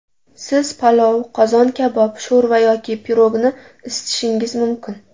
Siz palov, qozon kabob, sho‘rva yoki pirogni isitishingiz mumkin.